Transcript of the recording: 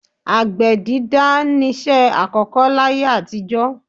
Àgbẹ̀ dídá niṣẹ́ àkọ́kọ́ láyé àtijọ́.